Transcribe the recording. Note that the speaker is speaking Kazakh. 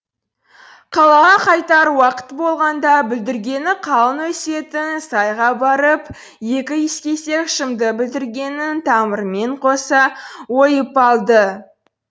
қалаға қайтар уақыт болғанда бүлдіргені қалың өсетін сайға барып екі кесек шымды бүлдіргеннің тамырымен қоса ойып алды